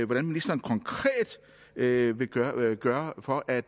hvad ministeren konkret vil gøre gøre for at